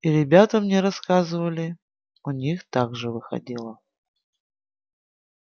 и ребята мне рассказывали у них так же выходило